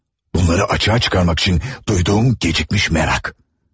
Bunları açığa çıxarmaq üçün duyduğum gecikmiş merak.